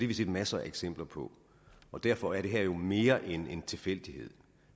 vi set masser af eksempler på og derfor er det her jo mere end en tilfældighed